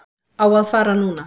Á að fara núna.